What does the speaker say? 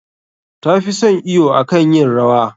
Ta fi son iwo akan yin rawa.